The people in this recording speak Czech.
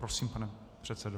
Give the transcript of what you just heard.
Prosím, pane předsedo.